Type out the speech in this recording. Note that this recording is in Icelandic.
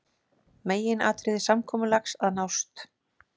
Meginatriði samkomulags að nást